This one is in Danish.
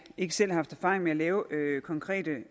ikke selv haft erfaring med at lave konkrete